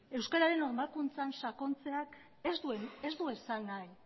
euskararen normalkuntzan sakontzeak ez du esan nahi